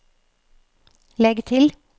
legg til